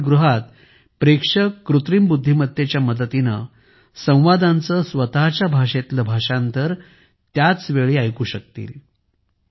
चित्रपटगृहात प्रेक्षक कृत्रिम बुद्धिमत्तेच्या मदतीने संवादांचे स्वतःच्या भाषेत भाषांतर त्याच वेळी ऐकू शकाल